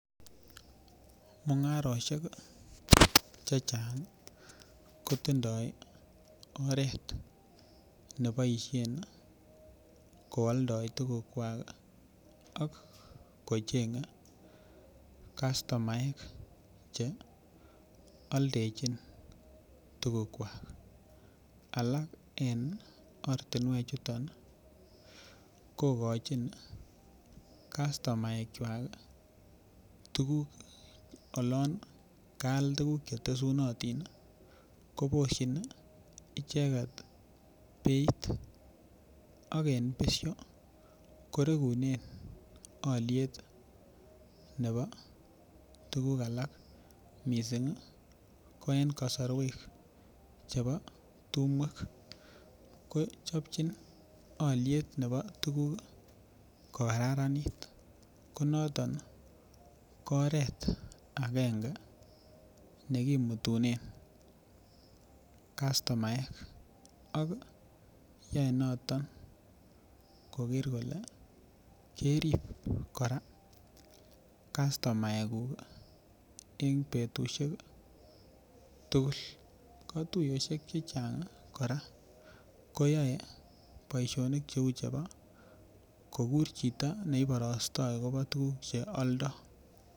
Mungarisheki chechangi kotindoi oret neboishen kooldoi tugukwak ak kochenge kastumaek che oldechin tugukwak alak en ortinwech chuton kokochin kastomaekwaki tugul olon kaal tuguk chetusunotini koboshini icheket beit aken besho korengunen oliet bebo tuguk alak misingi ko en kosorwek chebo tumwek kochobchin oliet bebo tuguk kokararanit konotin ko oret agenge nekimutunen kastomaeki ak yoe notok koker kole kerib kora kastomaekuk en betushek tugul kotuyoshek chechangi kora koyoe boishonik cheu chebo kokuren chito neiboroste akobo tuguk che aldo